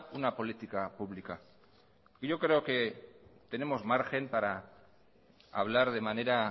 una política pública y yo creo que tenemos margen para hablar de manera